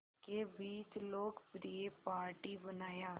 के बीच लोकप्रिय पार्टी बनाया